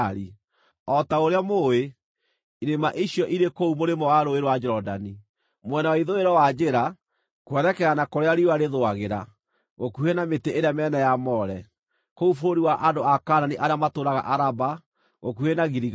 O ta ũrĩa mũũĩ, irĩma icio irĩ kũu mũrĩmo wa Rũũĩ rwa Jorodani, mwena wa ithũĩro wa njĩra kwerekera na kũrĩa riũa rĩthũagĩra, gũkuhĩ na mĩtĩ ĩrĩa mĩnene ya More, kũu bũrũri wa andũ a Kaanani arĩa matũũraga Araba gũkuhĩ na Giligali.